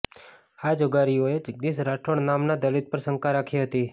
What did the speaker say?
આ જુગારીઓએ જગદીશ રાઠોડ નામના દલિત પર શંકા રાખી હતી